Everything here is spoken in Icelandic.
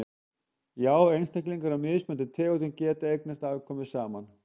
já einstaklingar af mismunandi tegundum geta eignast afkvæmi saman